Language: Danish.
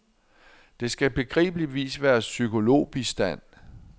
Det skal begribeligvis være psykologbistand.